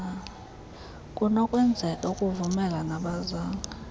kunokwenzeka akuvumele nabazali